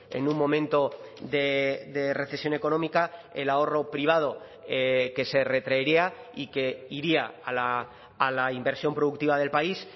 en un momento de recesión económica el ahorro privado que se retraería y que iría a la inversión productiva del país